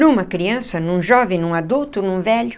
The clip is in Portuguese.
Numa criança, num jovem, num adulto, num velho,